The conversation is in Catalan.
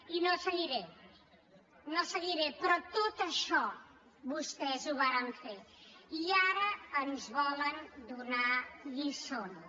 i no seguiré no seguiré però tot això vostès ho varen fer i ara ens volen donar lliçons